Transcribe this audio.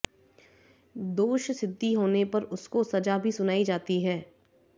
दोष सिद्ध होने पर उसको सजा भी सुनाई जाती है